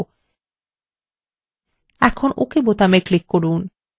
এখন ok button click করুন